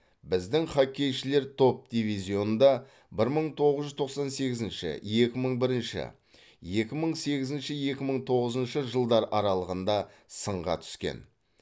біздің хоккейшілер топ дивизионда бір мың тоғыз жүз тоқсан сегізінші екі мың бірінші екі мың сегізінші екі мың тоғызыншы жылдар аралығында сынға түскен